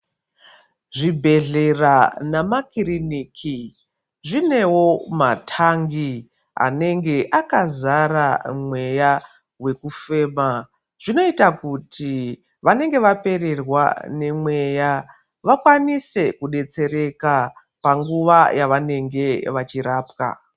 Zvibhedhlera namakiriniki zvinevo matangi anenge akazara mweya vekufema. Zvinoita kuti vanenge vapererwa nemeya vakwanise kubetsereka panguva yavanenge vachirapwa.